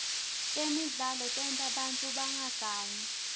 temidlalo tenta bantfu bangagangi